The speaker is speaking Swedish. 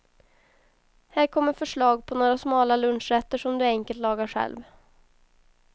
Här kommer förslag på några smala lunchrätter som du enkelt lagar själv.